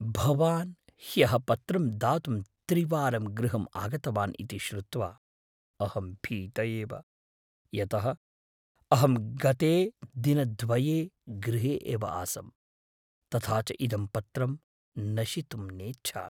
भवान् ह्यः पत्रं दातुं त्रिवारं गृहम् आगतवान् इति श्रुत्वा अहं भीत एव, यतः अहं गते दिनद्वये गृहे एव आसम्, तथा च इदं पत्रं नशितुं नेच्छामि।